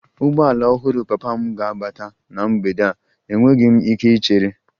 Ụgbọala ọhụrụ papa m ga-abata na mgbede a, enweghị m ike ichere